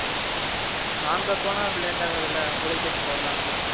நாங்க போனா late ஆகாதுல உங்களையே கேட்டு போய்ரலாம்ல